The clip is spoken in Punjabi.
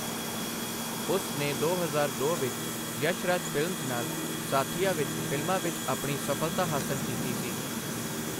ਉਸ ਨੇ ਦੋ ਹਜ਼ਾਰ ਦੋ ਵਿੱਚ ਯਸ਼ਰਾਜ ਫਿਲਮਜ਼ ਨਾਲ 'ਸਾਥੀਆ' ਵਿੱਚ ਫਿਲਮਾਂ ਵਿੱਚ ਆਪਣੀ ਸਫ਼ਲਤਾ ਹਾਸਲ ਕੀਤੀ ਸੀ।